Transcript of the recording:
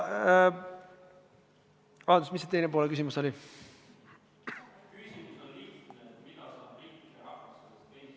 Vabandust, mis see küsimuse teine pool oli?